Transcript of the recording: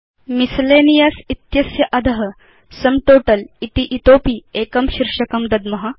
miscellaneous इत्यस्य अध sum total इति इतोऽपि एकं शीर्षकं दद्म